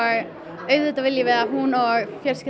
auðvitað viljum við að hún og fjölskyldan